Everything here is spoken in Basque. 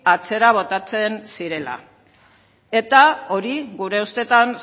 atzera botatzen zirela eta hori gure ustetan